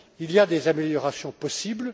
Il y a des améliorations possibles.